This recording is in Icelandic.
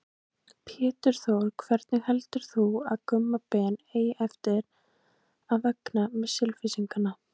Pétur Þór Hvernig heldur þú að Gumma Ben eigi eftir að vegna með Selfyssinga?